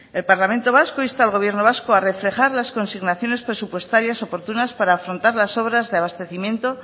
el parlamento vasco insta al gobierno vasco a reflejar las consignaciones presupuestarias oportunas para afrontar las obras de abastecimiento